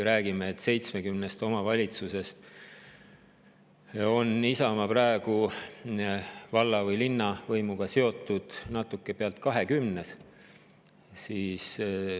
70 omavalitsusest on Isamaa praegu valla- või linnavõimuga seotud veidi üle 20-s.